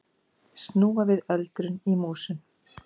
Snúa við öldrun í músum